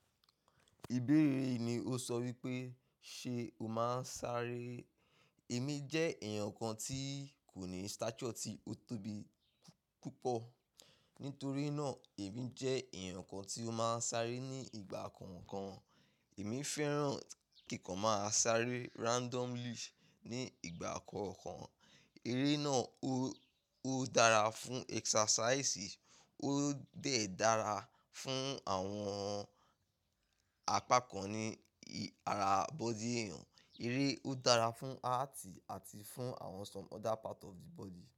Ìbéèrè yìí ni ó sọ wípé ṣe o máa ń sáré? Èmi jẹ́ èèyàn kan tí kò ní stature, tí ó tóbi púpọ̀. Nítorí náà, èmi jẹ́ ẹ̀yàn kan tí ó máa ń sáré ní ìgbà kọ̀ọ̀kan. Èmi fẹ́ràn kí n kan máa sáré randomly ní ìgbà kọ̀ọ̀kan. Eré náà ó dára fún exercise, ó dẹ̀ dára fún àwọn apakan ni ara body èèyàn. Eré ó dára fún heart àti fún àwọn some other part of the body.